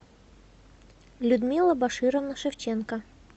людмила башировна шевченко